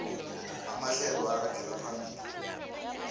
amahlelo aragela phambili